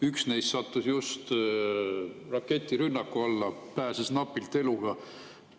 Üks neist sattus just raketirünnaku alla, pääses napilt eluga.